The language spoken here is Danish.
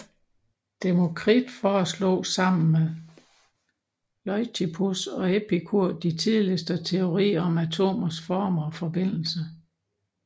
Demokrit foreslog sammen med Leucippus og Epikur de tidligste teorier om atomers former og forbindelse